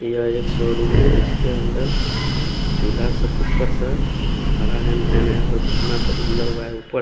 यहाँ एक शोरूम है जिसके अन्दर चुला सा कुकर सा धारा है मेने और अपना सब बांधा हुआ है उपर--